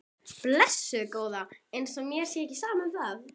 Blessuð góða. eins og mér sé ekki sama um það!